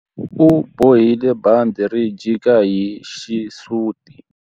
U bohile bandhi ri jika hi xisuti.